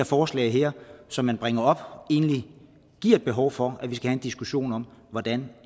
forslaget som man bringer op her egentlig viser et behov for at vi skal have en diskussion om hvordan